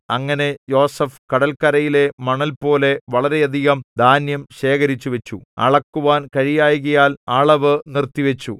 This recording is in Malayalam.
അങ്ങനെ യോസേഫ് കടൽകരയിലെ മണൽപോലെ വളരെയധികം ധാന്യം ശേഖരിച്ചു വച്ചു അളക്കുവാൻ കഴിയായ്കയാൽ അളവു നിർത്തിവച്ചു